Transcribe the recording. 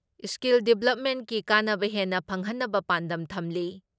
Skill ꯗꯤꯕ꯭ꯂꯞꯃꯦꯟꯀꯤ ꯀꯥꯟꯅꯕ ꯍꯦꯟꯅ ꯐꯪꯍꯟꯅꯕ ꯄꯥꯟꯗꯝ ꯊꯝꯂꯤ ꯫